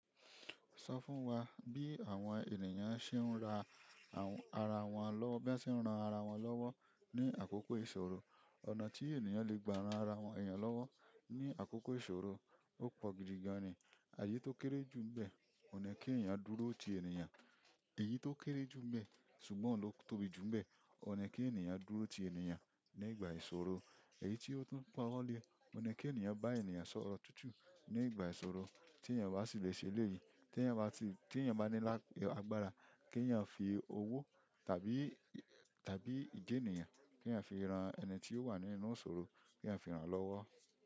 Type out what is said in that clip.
Sọ fún wá bí àwọn ènìyàn ṣe ń ra ara wọn lọ́wọ́, bí wọ́n ṣe ń ràn ara wọn lọ́wọ́ ní àkókò ìṣòro. Ọ̀nà tí ènìyàn lè gba ran ara èèyàn wọn lọ́wọ́ ní àkókò ìṣòro ó pọ̀ gidi gan ni èyí tó kéré jù ńbẹ́, òní kí ènìyàn dúró ti ènìyàn. Èyí tó kéré jù ń be ṣùgbọ́n ohun ló tóbi jù ń be òun ni kí ènìyàn dúró ti yan ni ìgbà ìṣòro èyí tí o tún pawo le, ohun ni kí ènìyàn bá ènìyàn sọ̀rọ̀ tutu ní ìgbà ìṣòro, ti yan o bá sì lè ṣe eleyi. Tí ènìyàn bá ní agbára kí ènìyàn fi owó tàbí, tàbí ije ènìyàn kí èyàn fi ran ẹni tí ó wà nínú ìṣòro, kí èyàn fi ran lọ́wọ́.